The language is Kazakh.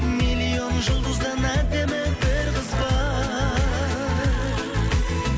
миллион жұлдыздан әдемі бір қыз бар